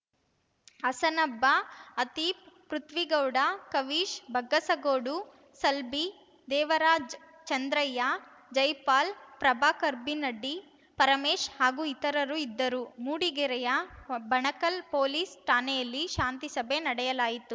ಹಸನಬ್ಬ ಆತೀಪ್‌ಪೃಥ್ವಿಗೌಡ ಕವೀಶ್‌ ಬಗ್ಗಸಗೋಡು ಸಲ್ಬಿ ದೇವರಾಜ್‌ ಚಂದ್ರಯ್ಯ ಜೈಪಾಲ್‌ ಪ್ರಭಾಕರ್‌ಬಿನ್ನಡಿ ಪರಮೇಶ್‌ ಹಾಗೂ ಇತರರು ಇದ್ದರು ಮೂಡಿಗೆರೆಯ ಬಣಕಲ್‌ ಪೊಲೀಸ್‌ ಠಾಣೆಯಲ್ಲಿ ಶಾಂತಿಸಭೆ ನಡೆಯಲಾಯಿತು